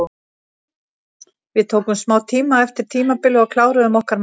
Við tókum smá tíma eftir tímabilið og kláruðum okkar mál.